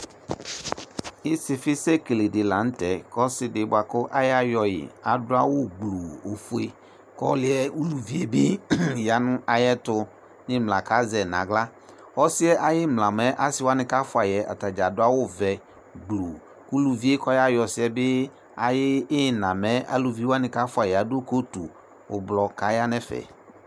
ɩsɩfɩsɛ ekeledɩ la n'tɛ k'ɔsidɩ bʋa kʋ ayayɔyi adʋ awʋ gbluu ofue k'ɔlʋ yɛ, uluvi yɛ bɩ ya nʋ ayɛtʋ n'ɩmla k'azɛ n'aɣla Ɔsɩ yɛ ay'ɩmla mɛ asɩwsnɩ k'sfʋayi yɛ atanɩ dzaa adʋ awʋ vɛ gbluu, uluvi yɛ kɔyayɔ ɔsɩ yɛ bɩ ay'ina bɩ mɛ aluviwanɩ kafuayi yɛ adʋ coatu ʋblʋ kaya n'ɛfɛ